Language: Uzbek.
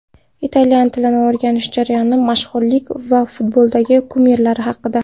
Italyan tilini o‘rganish jarayoni, mashhurlik va futboldagi kumirlari haqida.